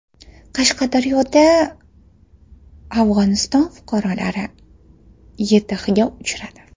Qashqadaryoda Afg‘oniston fuqarolari YTHga uchradi .